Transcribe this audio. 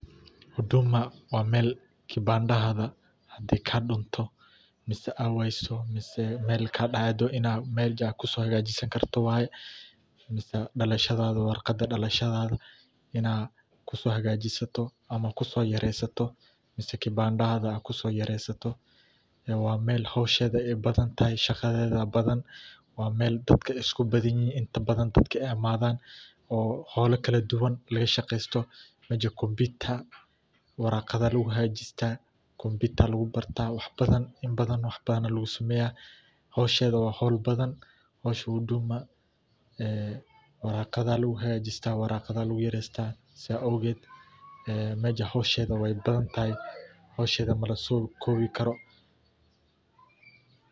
Huduma waa mel hadi kibandahaga hadi aay kadunto mise aay wayso mise mel kaado inad meja kusohagajisani karto, waye mise dalashada warqada inad kuso hagajisato mise kusoyaresato, mise kibandahaga kusoyaresato ee wa mel howshada aay badhantahay oo shaqadeda badhan wa mal dadka iskubadanyihin inta badhan, dadka aay amadan oo hola kaladuwan lagashaqeysto meja computer warqadha aya lagu hagajista, computer aya lagu barta ibadhan wax badhan aya lagusameyah howshada wa hol badhan, howsha Huduma ee waraqada aya lagu hagajista, waraqadha lagu yareysta saa awged, meja howshda way badhantahay, howshada lamaso kobi karo.